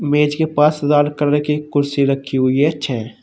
मेज के पास लाल कलर की कुर्सी रखी हुई है छे।